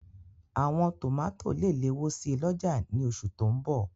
Àwọn tòmátò lè léwó si lọ́jà ní oṣù tó n bọ̀